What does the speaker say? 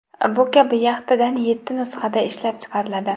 Bu kabi yaxtadan yetti nusxada ishlab chiqariladi.